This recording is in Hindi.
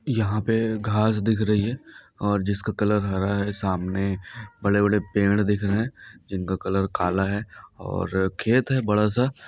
यहाँ पे घास दिख रही है और जिसका कलर हरा है सामने बड़े बड़े पेड़ दिख रहे है जिनका कलर काला है और खेत है बड़ा सा।